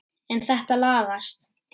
En þetta lagast.